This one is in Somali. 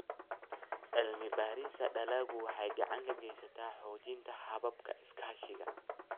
Cilmi-baarista dalaggu waxay gacan ka geysataa xoojinta hababka iskaashiga.